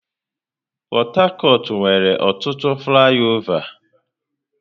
Port Harcourt nwere ọtụtụ flaịọvá.